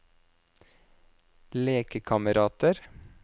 lekekamerater